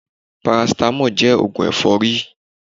Parasitamọ́ọ̀ jẹ́ oògùn ẹ̀fọ́rí